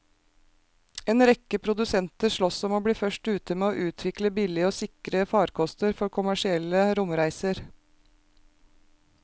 En rekke produsenter sloss om å bli først ute med å utvikle billige og sikre farkoster for kommersielle romreiser.